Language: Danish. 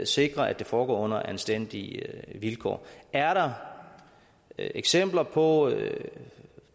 sikrer at det foregår under anstændige vilkår er der eksempler på